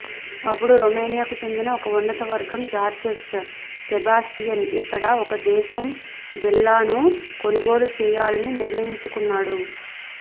అప్పుడు రొమేనియాకు చెందిన ఒక ఉన్నతవర్గం జార్జెస్ సెబాస్టియన్ ఇక్కడ ఒక దేశం విల్లాను కొనుగోలు చేయాలని నిర్ణయించుకున్నాడు